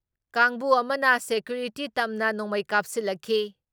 ꯀꯥꯡꯕꯨ ꯑꯃꯅ ꯁꯦꯀ꯭ꯌꯨꯔꯤꯇꯤ ꯇꯝꯅ ꯅꯣꯡꯃꯩ ꯀꯥꯞꯁꯤꯜꯂꯛꯈꯤ ꯫